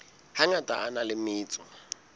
hangata a na le metso